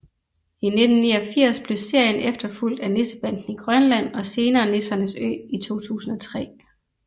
I 1989 blev serien efterfulgt af Nissebanden i Grønland og senere Nissernes Ø i 2003